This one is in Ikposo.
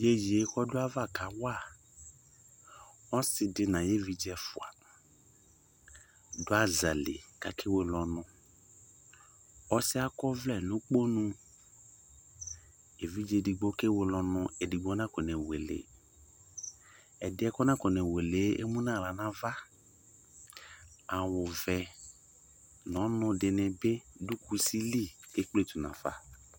Iyeyee k'ɔdʋ ayava kawa ɔsɩdɩ n'ayevidze ɛfʋa, dʋ aza li kakewele ɔnʋ Ɔsɩɛ akɔvlɛ n'ukponu, evidze digbo ke weleɔnʋ edigbo nakone wele Ɛdɩɛ kɔnakone welee emu n'aɣla n'ava:awʋvɛ n'ɔnʋdɩnɩ bɩ dʋ kusi li ekpletu nafa